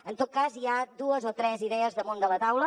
en tot cas hi ha dues o tres idees damunt de la taula